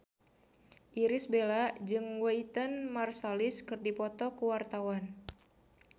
Irish Bella jeung Wynton Marsalis keur dipoto ku wartawan